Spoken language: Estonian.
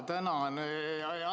Tänan!